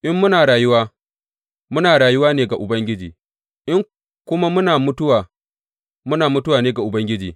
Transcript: In muna rayuwa, muna rayuwa ne ga Ubangiji; in kuma muna mutuwa, muna mutuwa ne ga Ubangiji.